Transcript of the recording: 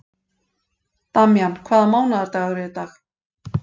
Damjan, hvaða mánaðardagur er í dag?